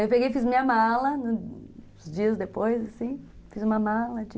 Aí eu fiz minha mala, uns dias depois, fiz uma mala de...